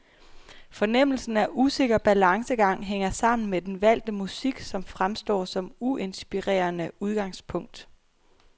Fornemmelsen af usikker balancegang hænger sammen med den valgte musik, som fremstår som uinspirerende udgangspunkt.